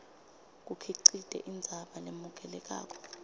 kukhicite indzaba lemukelekako